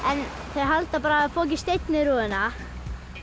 þau halda bara að hafi fokið steinn í rúðuna